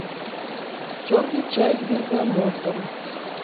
черный чай с бергамотом